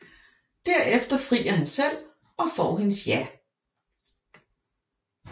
Derefter frier han selv og får hendes ja